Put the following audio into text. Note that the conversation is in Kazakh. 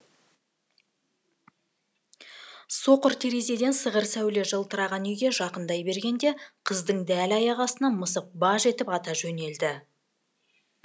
соқыр терезеден сығыр сәуле жылтыраған үйге жақындай бергенде қыздың дәл аяғы астынан мысық баж етіп ата жөнелді